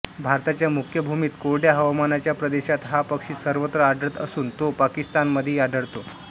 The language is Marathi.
भारताच्या मुख्य भूमीत कोरड्या हवामानाच्या प्रदेशात हा पक्षी सर्वत्र आढळत असून तो पाकिस्तानामध्येही आढळतो